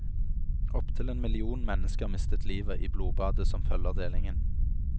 Opptil en million mennesker mister livet i blodbadet som følger delingen.